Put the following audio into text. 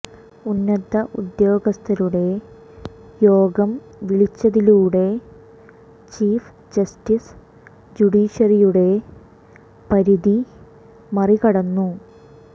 ഉന്നത ഉദ്യോഗസ്ഥരുടെ യോഗം വിളിച്ചതിലൂടെ ചീഫ് ജസ്റ്റിസ് ജുഡീഷ്യറിയുടെ പരിധി മറികടന്നു